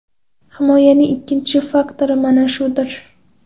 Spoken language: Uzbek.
Himoyaning ikkinchi faktori mana shudir.